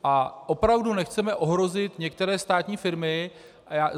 A opravdu nechceme ohrozit některé státní firmy.